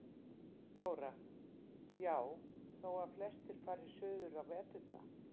Þóra: Já, þó að flestir fari suður á veturna?